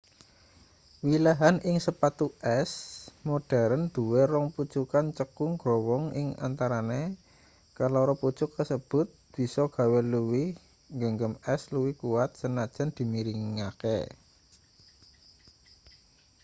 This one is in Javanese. wilahan ing sepatu es modheren duwe rong pucukan cekung growong ing antarane kaloro pucuk kasebut bisa gawe luwih nggegem es luwih kuwat sanajan dimiringake